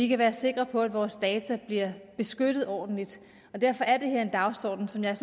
kan være sikre på at vores data bliver beskyttet ordentligt og derfor er det her en dagsorden som jeg